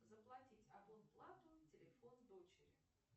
заплатить абонплату телефон дочери